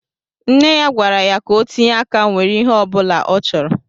Nne ya gwara ya ka o tinye áká nwèrè ihé ọbula ọ chọrọ